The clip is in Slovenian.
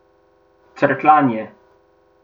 Crkljanje.